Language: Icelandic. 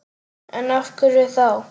En af hverju þá?